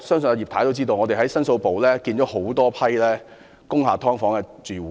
在牛頭角大火後，我們在申訴部接見了多批工廈"劏房"住戶。